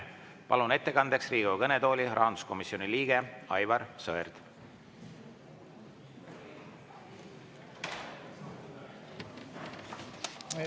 Palun ettekandeks Riigikogu kõnetooli, rahanduskomisjoni liige Aivar Sõerd!